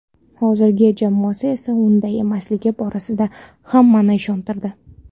Hozirgi jamoasi esa unday emasligi borasida hammani ishontirdi.